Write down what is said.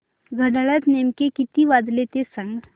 घड्याळात नेमके किती वाजले ते सांग